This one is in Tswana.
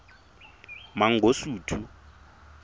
mangosuthu